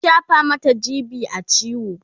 an shafa Mata g.b a ciwo